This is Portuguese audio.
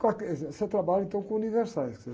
quer dizer, você trabalha, então, com universais, quer dizer